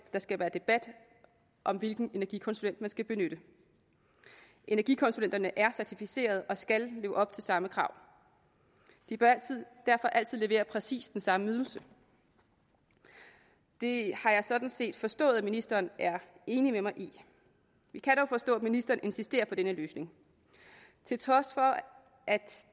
der skal være debat om hvilken energikonsulent man skal benytte energikonsulenterne er certificerede og skal leve op til samme krav de bør derfor altid levere præcis den samme ydelse det har jeg sådan set forstået at ministeren er enig med mig i vi kan dog forstå at ministeren insisterer på denne løsning til trods for at